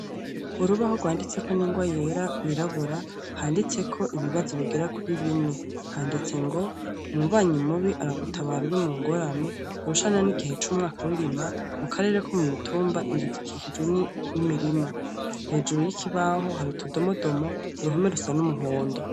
Urubaho rwanditseko n'ingwa yera rwirabura handitseko ibibazo bigera kuri bine, handitse ngo umubanyi mubi aragutabara uri mu ngorane, urushana n'igihe c'umwaka w'irima, mu karere ko mu mitumba inzu zikikijwe n'imirima, hejuru y'ikibaho hari utudomodomo, uruhome rusa n'umuhondo.